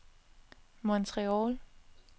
Montreal